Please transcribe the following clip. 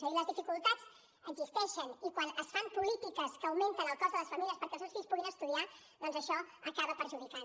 és a dir les dificultats existeixen i quan es fan polítiques que augmenten el cost a les famílies perquè els seus fills puguin estudiar doncs això acaba perjudicant